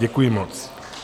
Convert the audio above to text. Děkuji moc.